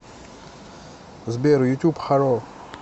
сбер ютюб харо